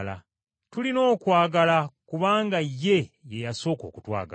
Tulina okwagala kubanga Ye ye yasooka okutwagala.